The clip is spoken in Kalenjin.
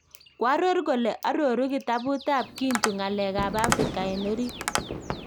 Koaror kole aroru kitabut ab 'Kintu' ngalek ab afrika en orit